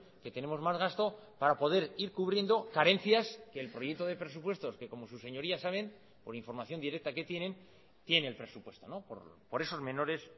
que tenemos más gasto para poder ir cubriendo carencias que el proyecto de presupuestos que como sus señorías saben por información directa que tienen tiene el presupuesto por esos menores